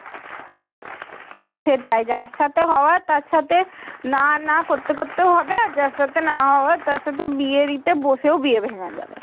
সেটাই যার সাথে হওয়ার তার সাথে না না করতে করতে ও হবে আর যার সাথে না হওয়ার তার সাথে বিয়ে দিতে বসে ও বিয়ে ভেঙে যাবে।